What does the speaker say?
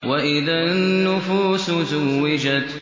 وَإِذَا النُّفُوسُ زُوِّجَتْ